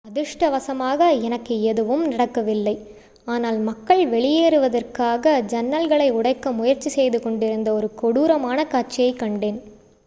"""அதிர்ஷ்டவசமாக எனக்கு எதுவும் நடக்கவில்லை ஆனால் மக்கள் வெளியேறுவதற்காக ஜன்னல்களை உடைக்க முயற்சி செய்துகொண்டிருந்த ஒரு கொடூரமான காட்சியைக் கண்டேன்.